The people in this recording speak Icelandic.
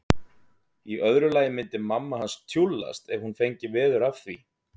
Í öðru lagi myndi mamma hans tjúllast ef hún fengi veður af því.